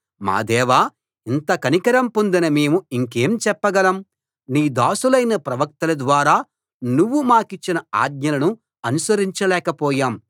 మా దేవా ఇంత కనికరం పొందిన మేము ఇంకేం చెప్పగలం నీ దాసులైన ప్రవక్తల ద్వారా నువ్వు మాకిచ్చిన ఆజ్ఞలను అనుసరించలేకపోయాం